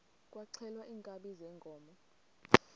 kwaxhelwa iinkabi zeenkomo